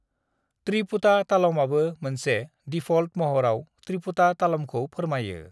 त्रिपुटा तालमआबो मोनसे डिफ़ल्ट महराव त्रिपुटा तालमखौ फोरमायो।